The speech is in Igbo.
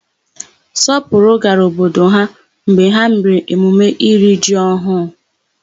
Sọpụrụ gara obodo ha mgbe ha mere emume iri ji ọhụụ.